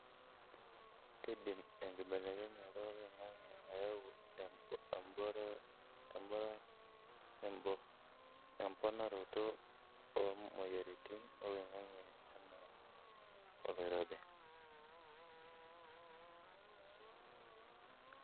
keidim enkibelekenyata oloingange ayau emponaroto omoyiaritin oloingange ena oloirobi.